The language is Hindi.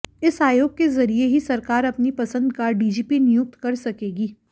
इस आयोग के जरिये ही सरकार अपनी पसंद का डीजीपी नियुक्त कर सकेगी